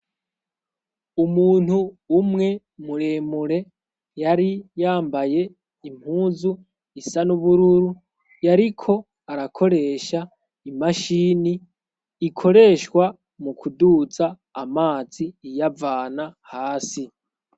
Umuntu umwe muremure, yari yambaye impuzu isa nubururu, yariko arakoresha imashini ikoreshwa mu kuduza amazi iyavana hasi.